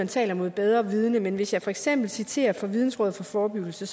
taler mod bedre vidende men hvis jeg for eksempel citerer fra vidensråd for forebyggelse